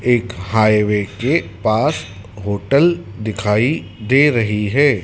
एक हाईवे के पास होटल दिखाई दे रही है।